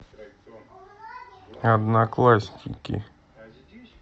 одноклассники